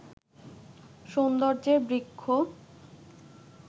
সৌন্দর্যের বৃক্ষ